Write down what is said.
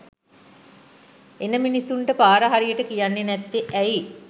එන මිනිස්සුන්ට පාර හරියට කියන්නේ නැත්තේ ඇයි?